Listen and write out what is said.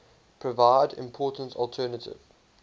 provide important alternative